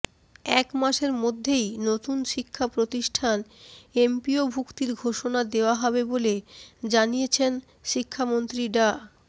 এক মাসের মধ্যেই নতুন শিক্ষাপ্রতিষ্ঠান এমপিওভুক্তির ঘোষণা দেওয়া হবে বলে জানিয়েছেন শিক্ষামন্ত্রী ডা